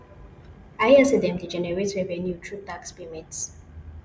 i hear say dem dey generate revenue through tax payments